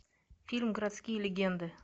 фильм городские легенды